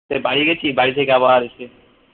সেই বাড়ি গেছি বাড়ি থেকে আবার এসে